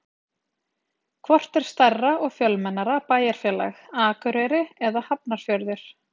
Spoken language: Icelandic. Hvort er stærra og fjölmennara bæjarfélag, Akureyri eða Hafnarfjörður?